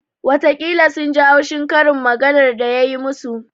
Watakila sun ji haushi karin maganar da ya yi musu